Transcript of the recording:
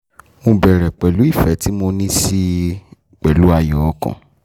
mo bẹ̀rẹ̀ pẹ̀lú ìfẹ́ tí mo ní sí i àti ààyò ọkàn